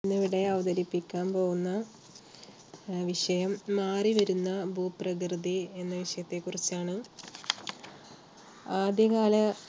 ഇന്നിവിടെ അവതരിപ്പിക്കാൻ പോകുന്ന വിഷയം മാറിവരുന്ന ഭൂപ്രകൃതി എന്ന വിഷയത്തെക്കുറിച്ചാണ്. ആദ്യകാല